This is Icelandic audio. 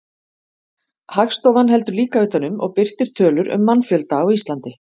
Hagstofan heldur líka utan um og birtir tölur um mannfjölda á Íslandi.